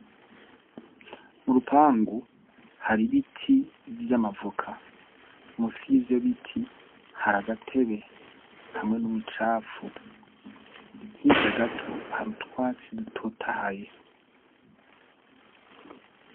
Mu rupangu hari ibiti vy'amavoka. Munsi yivyo biti hari agatebe hamwe n'mucafu. Hirya gato, hari utwatsi dutotahaye.